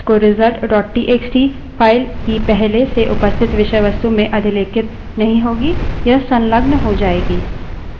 तो नई विषयवस्तु WC _ result dot TXT wc _ results txt file की पहले से उपस्थित विषयवस्तु में अधिलेखित नहीं होगी यह संलग्न हो जायेगी